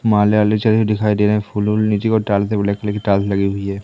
दिखाई दे रहे हैं फुल उल नीचे कोई टाइल्स है ब्लैक कलर की टाइल्स लगी हुई है।